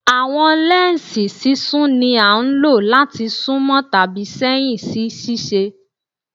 Awọn lẹnsi sisún ni a lo lati sunmọ tabi sẹhin si ṣiṣe